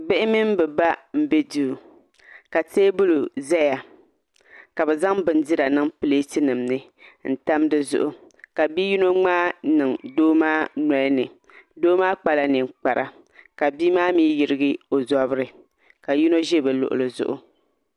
Bihi mini bi ba n bɛ duu ka teebuli ʒɛya ka bi zaŋ bindira niŋ pileeti nim ni n tam dizuɣu ka bia yino ŋmaai n niŋ doo maa nolini doo maa kpala ninkpara ka bia maa mii yirigi o zabiri ka yino ʒi bi luɣuli zuɣu